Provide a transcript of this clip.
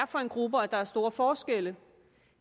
for en gruppe og at der var store forskelle